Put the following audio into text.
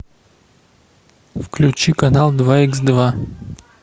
включи канал два икс два